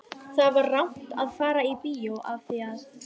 Það var rangt að fara í bíó af því að